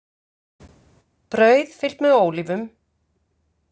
Brauð fyllt með ólívum